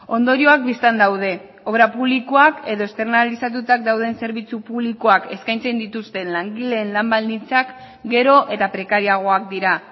ondorioak bistan daude obra publikoak edo externazionalizatutak dauden zerbitzu publikoak eskaintzen dituzten langileen lan baldintzak gero eta prekarioagoak dira